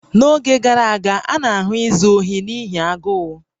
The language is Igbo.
N'oge gara aga, a na-ahụ izu ohi n'ihi agụụ